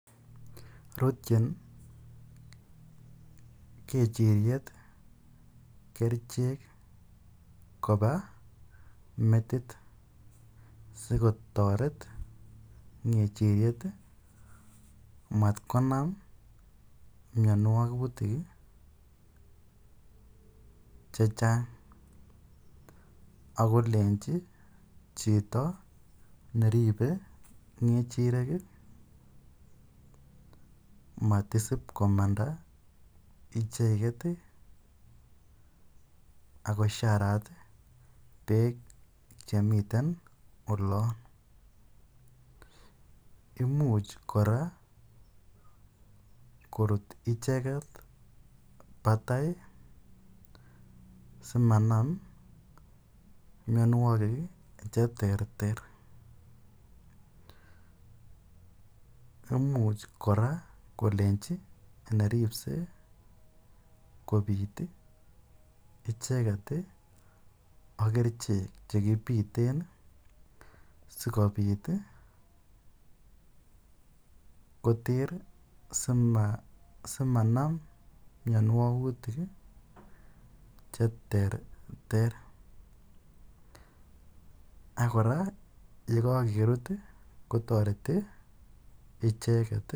Rutchin kechiriet kerichek kopa metit asikotaret kechiriet matkonam miawagutik che chang' ako lenchi chito neripe kechirek matisip komanda icheget ako sharat peek chan mi olan. Imuch kora korut icheget patai asimanam miamwogik che terter. Imuch kora kolenchi neripsei kopiit icheget ak kerichek che kipiten asikopit koter asimanam mianwogutik che terter. Ak kora ko kakerut ko tareti icheget.